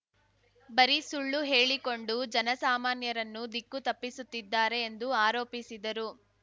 ಬರೀ ಸುಳ್ಳು ಹೇಳಿಕೊಂಡು ಜನಸಾಮನ್ಯರನ್ನು ದಿಕ್ಕು ತಪ್ಪಿಸುತ್ತಿದ್ದಾರೆ ಎಂದು ಆರೋಪಿಸಿದರು